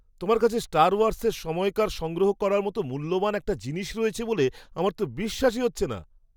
তোমার কাছে স্টার ওয়ার্সের সময়কার সংগ্রহ করার মতো মূল্যবান একটা জিনিস রয়েছে বলে আমার তো বিশ্বাসই হচ্ছে না!